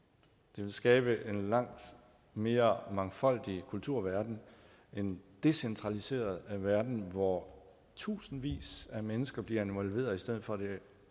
det vil skabe en langt mere mangfoldig kulturverden en decentraliseret verden hvor tusindvis af mennesker bliver involveret i stedet for at det